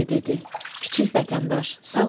"Kiçik vətəndaş, sağ ol!